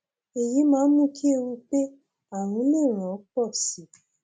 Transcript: èyí máa ń mú kí ewu pé ààrùn lè ràn ọ pọ sí i